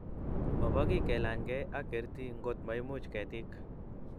mabo kiy kelanygei ak kerti ngot ko maimuch ketik